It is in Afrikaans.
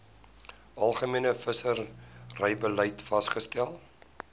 algemene visserybeleid vasgestel